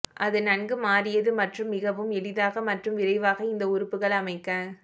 அது நன்கு மாறியது மற்றும் மிகவும் எளிதாக மற்றும் விரைவாக இந்த உறுப்புகள் அமைக்க